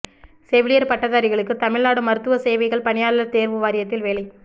செவிலியர் பட்டதாரிகளுக்கு தமிழ்நாடு மருத்துவ சேவைகள் பணியாளர் தேர்வு வாரியத்தில் வேலை